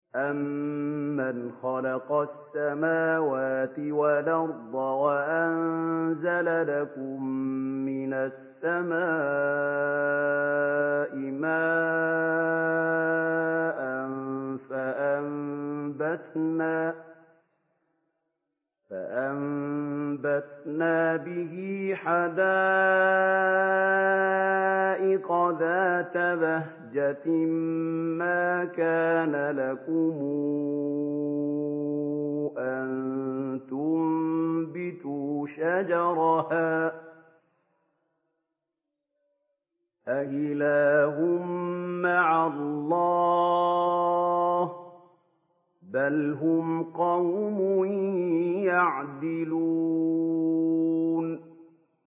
أَمَّنْ خَلَقَ السَّمَاوَاتِ وَالْأَرْضَ وَأَنزَلَ لَكُم مِّنَ السَّمَاءِ مَاءً فَأَنبَتْنَا بِهِ حَدَائِقَ ذَاتَ بَهْجَةٍ مَّا كَانَ لَكُمْ أَن تُنبِتُوا شَجَرَهَا ۗ أَإِلَٰهٌ مَّعَ اللَّهِ ۚ بَلْ هُمْ قَوْمٌ يَعْدِلُونَ